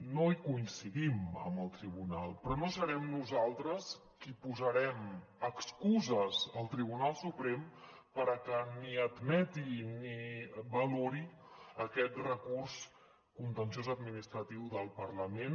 no hi coincidim amb el tribunal però no serem nosaltres qui posarem excuses al tribunal suprem perquè ni admeti ni valori aquest recurs contenciós administratiu del parlament